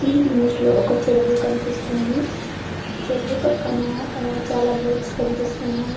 ఈ ఇమేజ్ లో ఒక చెరువు కనిపిస్తుంది చెరువు పక్కన ఆ చాలా బోట్స్ కనిపిస్తూనాయి .